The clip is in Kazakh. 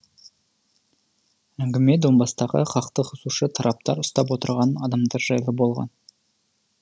әңгіме донбасстағы қақтығысушы тараптар ұстап отырған адамдар жайлы болған